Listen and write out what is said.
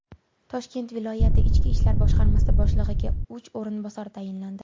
Toshkent viloyati Ichki ishlar boshqarmasi boshlig‘iga uch o‘rinbosar tayinlandi.